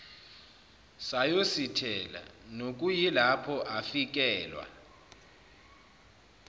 sayosithela nokuyilapho afikelwa